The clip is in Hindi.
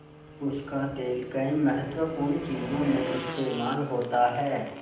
उसका तेल कई महत्वपूर्ण चीज़ों में इस्तेमाल होता है